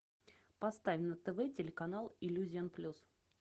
поставь на тв телеканал иллюзион плюс